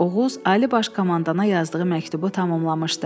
Oğuz Ali Baş Komandana yazdığı məktubu tamamlamışdı.